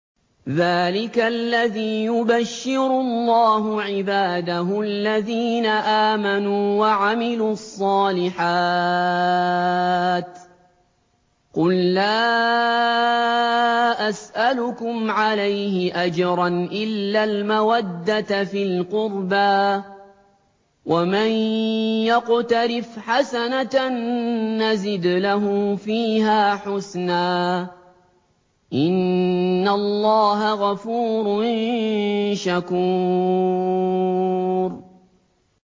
ذَٰلِكَ الَّذِي يُبَشِّرُ اللَّهُ عِبَادَهُ الَّذِينَ آمَنُوا وَعَمِلُوا الصَّالِحَاتِ ۗ قُل لَّا أَسْأَلُكُمْ عَلَيْهِ أَجْرًا إِلَّا الْمَوَدَّةَ فِي الْقُرْبَىٰ ۗ وَمَن يَقْتَرِفْ حَسَنَةً نَّزِدْ لَهُ فِيهَا حُسْنًا ۚ إِنَّ اللَّهَ غَفُورٌ شَكُورٌ